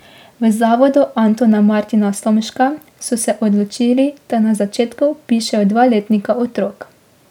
V Zavodu Antona Martina Slomška so se odločili, da na začetku vpišejo dva letnika otrok.